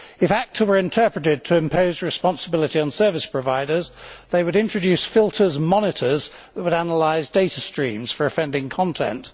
If ACTA were interpreted to impose responsibility on service providers they would introduce filters and monitors which would analyse data streams for offending content.